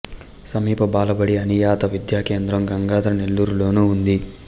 సమీప బాలబడి అనియత విద్యా కేంద్రం గంగాధర నెల్లూరులోను ఉంది